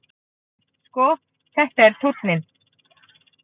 Sko, þetta er tónninn!